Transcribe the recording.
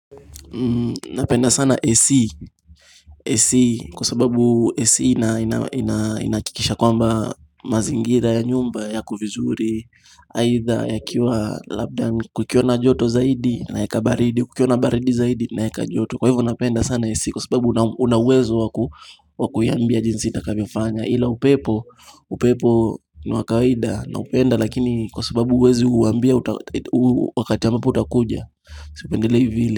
Napenda sana ac ac kwa sababu ac inahakikisha kwamba mazingira ya nyumba yako vizuri Aidha ya kiwa labda kukiwa na joto zaidi na yaka baridi kukiwana baridi zaidi naeka joto Kwa hivo napenda sana ac kwa sababu unawezo wakuiambia jinsi itakavyofanya ila upepo upepo ni wa kawaida na upenda lakini kwa sababu huwezi uambia wakati ambapo utakuja Sipendelei vile.